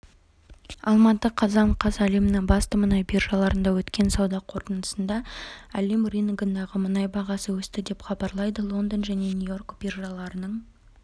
алматы қазан қаз әлемнің басты мұнай биржаларында өткен сауда қортындысында әлем рыногындағы мұнай бағасы өсті деп хабарлайды лондон және нью-йорк биржаларының